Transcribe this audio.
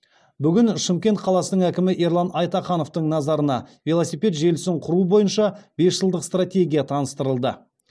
бүгін шымкент қаласының әкімі ерлан айтахановтың назарына велосипед желісін құру бойынша бес жылдық стратегия таныстырылды